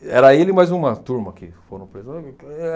era ele e mais uma turma que foram presos.